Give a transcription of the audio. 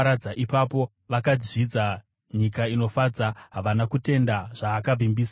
Ipapo vakazvidza nyika inofadza; havana kutenda zvaakavimbisa.